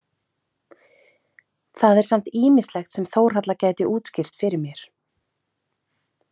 Það er samt ýmislegt sem Þórhalla gæti útskýrt fyrir mér.